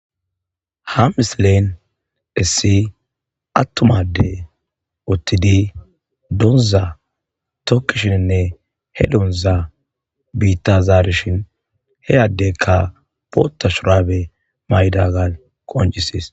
ha misilen issi attumade uttidi donza tokkishinnne he donza biitazaarishin heyaddekka poota shurabe mayda gal qonjisees